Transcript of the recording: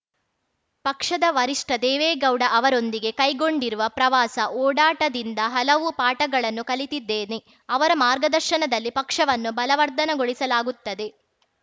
ಪಕ್ಷದ ವರಿಷ್ಠ ದೇವೇಗೌಡ ಅವರೊಂದಿಗೆ ಕೈಗೊಂಡಿರುವ ಪ್ರವಾಸ ಓಡಾಟದಿಂದ ಹಲವು ಪಾಠಗಳನ್ನು ಕಲಿತಿದ್ದೇನೆ ಅವರ ಮಾರ್ಗದರ್ಶನದಲ್ಲಿ ಪಕ್ಷವನ್ನು ಬಲವರ್ಧನೆಗೊಳಿಸಲಾಗುತ್ತದೆ